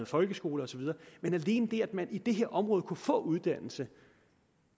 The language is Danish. folkeskole og så videre men alene det at man i det her område kunne få uddannelse